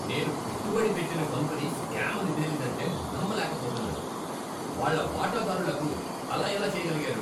నేను పెట్టుబడి పెట్టిన కంపెనీ స్కామ్ అని తేలిందంటే నమ్మలేకపోతున్నాను. వాళ్ళ వాటాదారులకు అలా ఎలా చేయగలిగారు?